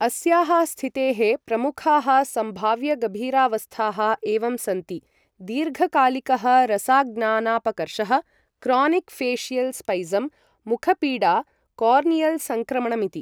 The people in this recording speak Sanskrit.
अस्याः स्थितेः प्रमुखाः सम्भाव्यगभीरावस्थाः एवं सन्ति दीर्घकालिकः रसाज्ञानापकर्षः, क्रोनिक् फेशियल् स्पैजम्, मुखपीडा, कोर्नियल् संक्रमणमिति।